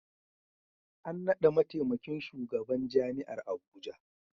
An naɗa mataimakin shugaban Jami'ar Abuja.